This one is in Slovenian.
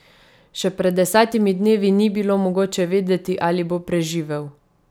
Še pred desetimi dnevi ni bilo mogoče vedeti, ali bo preživel.